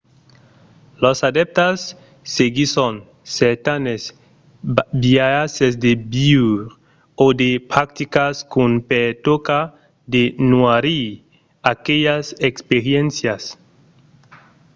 los adèptas seguisson certanes biaisses de viure o de practicas qu'an per tòca de noirir aquelas experiéncias